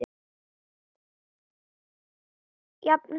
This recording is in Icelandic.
Jafnast það út?